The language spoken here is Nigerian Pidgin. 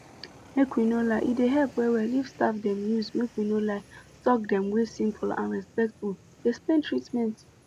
make we no lie e dey help well well if staff dem use make we no lie talk dem wey simple and respectful explain treatment